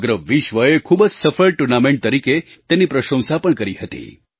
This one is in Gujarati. સમગ્ર વિશ્વએ ખૂબ જ સફળ ટુર્નામેન્ટ તરીકે તેની પ્રશંસા પણ કરી હતી